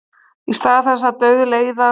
Í stað þess að dauðleiðast.